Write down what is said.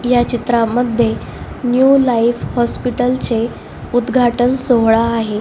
ह्या चित्रमध्ये no light hospital चे उद्धघाटन सोहळा आहे.